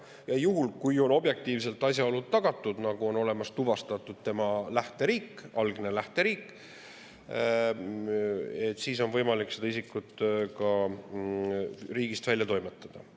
Ja juhul, kui on objektiivselt asjaolud tagatud ja on tuvastatud tema algne lähteriik, siis on võimalik see isik ka riigist välja toimetada.